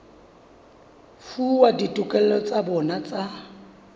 fuwa ditokelo tsa bona tsa